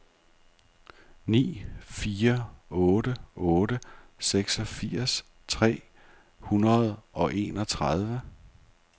ni fire otte otte seksogfirs tre hundrede og enogtredive